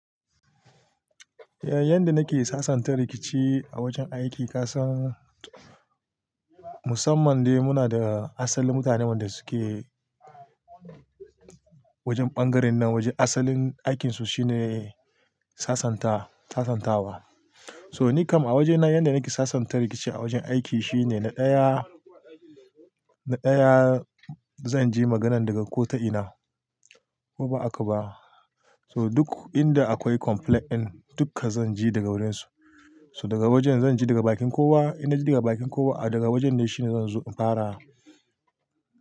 Eh, yanda nake sasanta rikici a wajen aiki, ka san musamman dai muna da asalin mutanen da suke wajen ɓangaren nan, wajen asalin aikinsu shine sasanta, sasantawa. So nikam a wajena yanda nake sasanta rikici a wajen aiki shine na ɗaya, na ɗaya zan je maganan daga ko ta ina ko ba'a ka ba. So duk inda akwai complaint ɗin duka zan je daga wurinsu. So daga wajen zan je daga bakin kowa, inda daga bakin kowa a daga wajen ne shine zan zo in fara.